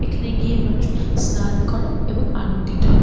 এখানে গিয়ে মানুষ স্নান করে এবং আনন্দিত হয় ।